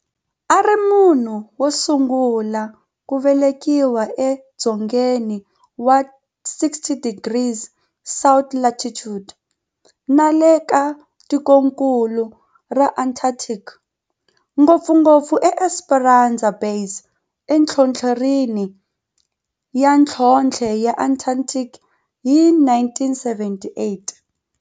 A ri munhu wosungula ku velekiwa e dzongeni wa 60 degrees south latitude nale ka tikonkulu ra Antarctic, ngopfungopfu eEsperanza Base enhlohlorhini ya nhlonhle ya Antarctic hi 1978.